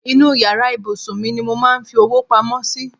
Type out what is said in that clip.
Inú yàrá ìbùsùn mi ni mo máa ń fi owó pamọ́ sí.